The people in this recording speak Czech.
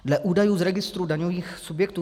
Dle údajů z registru daňových subjektů